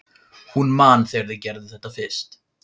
Hún man þegar þau gerðu þetta fyrst.